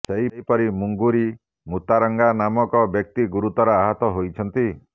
ସେହିପରି ମିଙ୍ଗୁରି ମୁତାରାଙ୍ଗା ନାମକ ବ୍ୟକ୍ତି ଗୁରୁତର ଆହତ ହୋଇଛନ୍ତି